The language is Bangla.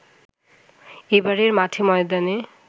এবারের মাঠে ময়দানে